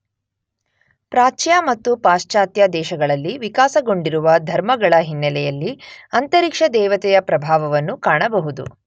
ಪ್ರಾಚ್ಯ ಮತ್ತು ಪಾಶ್ಚಾತ್ಯ ದೇಶಗಳಲ್ಲಿ ವಿಕಾಸಗೊಂಡಿರುವ ಧರ್ಮಗಳ ಹಿನ್ನೆಲೆಯಲ್ಲಿ ಅಂತರಿಕ್ಷ ದೇವತೆಯ ಪ್ರಭಾವವನ್ನು ಕಾಣಬಹುದು.